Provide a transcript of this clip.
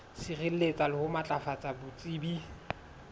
sireletsa le ho matlafatsa botsebi